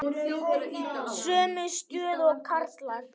Sömu stöðu og karlar.